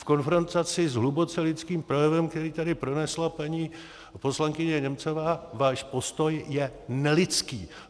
V konfrontaci s hluboce lidským projevem, který tady pronesla paní poslankyně Němcová, váš postoj je nelidský.